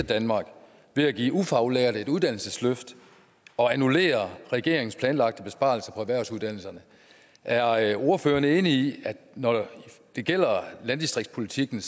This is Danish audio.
danmark ved at give ufaglærte et uddannelsesløft og annullere regeringens planlagte besparelse på erhvervsuddannelserne er er ordføreren enig i at når det gælder landdistriktspolitikken